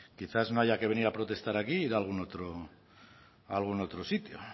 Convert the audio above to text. quizás no haya que venir a protestar aquí ir a algún otro sitio